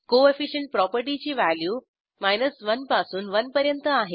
coefficient प्रॉपर्टीची value 100 पासून 100 पर्यंत आहे